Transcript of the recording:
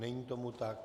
Není tomu tak.